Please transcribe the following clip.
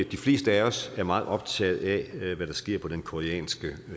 de fleste af os er meget optaget af hvad der sker på den koreanske